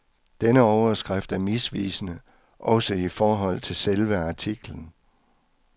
Denne overskrift er misvisende, også i forhold til selve artiklen.